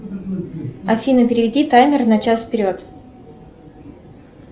афина переведи таймер на час вперед